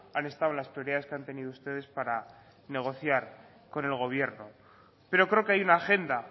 han estado las prioridades que han tenido ustedes para negociar con el gobierno pero creo que hay una agenda